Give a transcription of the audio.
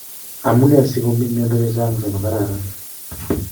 Amuni sigomi miondo chechang chemakararan